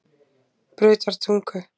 Brautartungu